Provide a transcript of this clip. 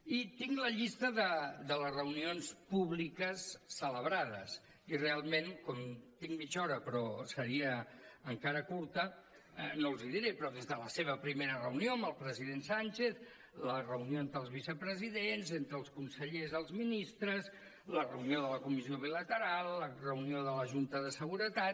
i tinc la llista de les reunions públiques celebrades i realment com tinc mitja hora però seria encara curta no els hi diré però des de la seva primera reunió amb el president sánchez la reunió entre els vicepresidents entre els consellers i els ministres la reunió de la comissió bilateral la reunió de la junta de seguretat